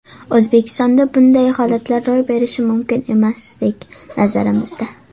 O‘zbekistonda bunday holatlar ro‘y berishi mumkin emasdek, nazarimizda.